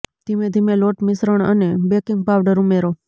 ધીમે ધીમે લોટ મિશ્રણ અને બેકિંગ પાવડર ઉમેરો